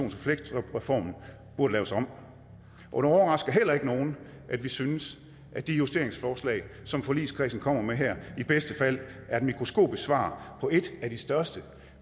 og fleksjobreformen burde laves om og det overrasker heller ikke nogen at vi synes at de justeringsforslag som forligskredsen kommer med her i bedste fald er et mikroskopisk svar på et af de største